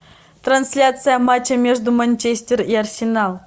трансляция матча между манчестер и арсенал